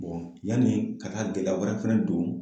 yani ka taa gɛlɛya wɛrɛ fɛnɛ don